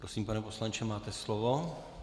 Prosím, pane poslanče, máte slovo.